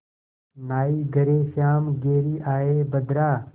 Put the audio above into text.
नाहीं घरे श्याम घेरि आये बदरा